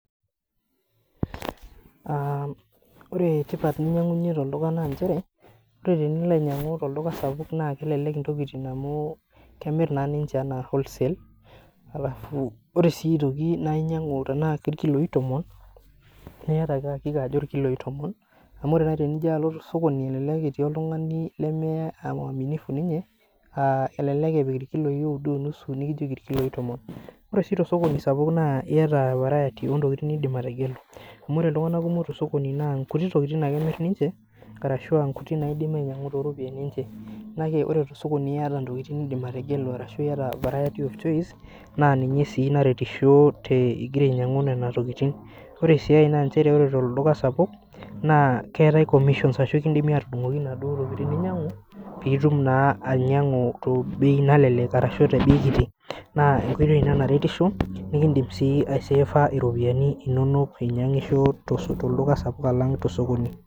Ore tipat ninyangunyie toldukai naa nchere ,ore tenilo ainyangu toldukai sapuk naa kelelek ntokiting amu kemiri naa ninche ana wholesale, ore sii aitoki naa tenaa inyangu irkiloi tomon naa iyata ake akika ajo irkiloi tomon. Amu elelek naaji elotu sokoni etii oltungani lememwaminifu ninye, elelek epik irkiloi oudo onusu nikijoki irkiloi tomon. Ore sii tosokoni sapuk naa iyata variety oo ntokiting nindim ategelu .Amu ore iltunganak kumok tosokoni naa nkuti tokiting ake emir ninche arashu nkuti naidimi ainyangu tooropiyiani kuti. Kake ore tosokoni iyata ntokiting nindim ategelu ashu variety of choice, naa ninye sii naretisho ingira ainyangu nena tokiting. Ore sii ae naa nchere ore toduka sapuk ,naa keetae commissions ashu ekindimi atudungoki naduo tokiting ninyangu, pee itum naa ianyangu tebei kiti ashu nalelek naa esiai ina naretisho ,indim sii aiseefa ropiyiani inonok inyangisho toldukai sapuk ashu tosokoni.